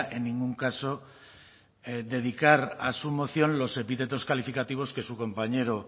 en ningún caso dedicar a su moción los epítetos calificativos que su compañero